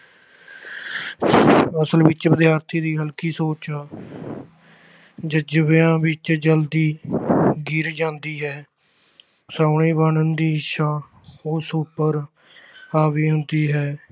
ਅਸਲ ਵਿੱਚ ਵਿਦਿਆਰਥੀ ਦੀ ਹਲਕੀ ਸੋਚ ਜ਼ਜ਼ਬਿਆਂ ਵਿੱਚ ਜ਼ਲਦੀ ਗਿਰ ਜਾਂਦੀ ਹੈ ਸੋਹਣੇ ਬਣਨ ਦੀ ਇੱਛਾ ਉਸ ਉੱਪਰ ਹਾਵੀ ਹੁੰਦੀ ਹੈ।